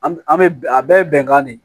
An an bɛ a bɛɛ bɛnkan de